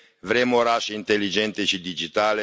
Vrem orașe inteligente și digitale.